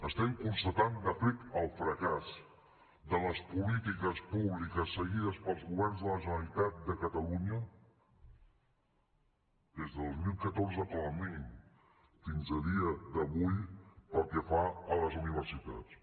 estem constatant de fet el fracàs de les polítiques públiques seguides pels governs de la generalitat de catalunya des de dos mil catorze com a mínim fins a dia d’avui pel que fa a les universitats